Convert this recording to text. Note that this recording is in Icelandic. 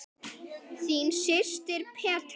Þín systir, Petra.